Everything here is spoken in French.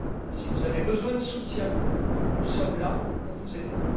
Si vous avez besoin de soutien, nous sommes là pour vous aider.